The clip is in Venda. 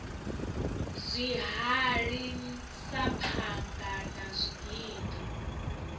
zwihali sa phanga na zwigidi